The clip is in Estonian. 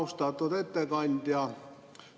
Austatud ettekandja!